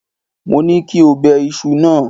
Mo ní kí o bẹ iṣu náà.!